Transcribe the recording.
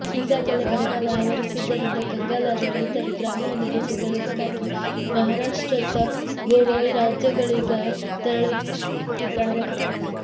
ಈಗಾಗಲೆ ಬರಗಾಲ ಆವರಿಸಿದ್ದರಿಂದ ಕಂಗಾಲಾದ ರೈತರು ಗ್ರಾಮವನ್ನು ಬಿಟ್ಟು ಕೆಲಸಕ್ಕಾಗಿ ಮಹಾರಾಷಾ್ತ್ರ ಮತ್ತು ಗೋವಾ ರಾಜ್ಯಗಳಿಗೆ ತೆರಳುತ್ತಿದ್ದಾರೆ